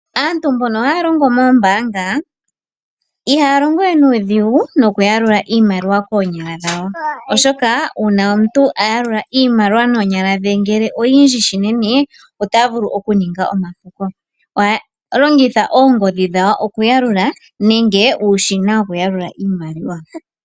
Aantu mbono haya longo moombaanga, ihaya longo we nuudhigu nokuyalula iimaliwa koonyala, oshoka uuna omuntu a yalula iimaliwa noonyala ngele oyindji unene, ota vulu okuninga omapuko. Ohaya longitha oongodhi dhawo okuyalula, nenge uushina wokuyalula iimaliwa.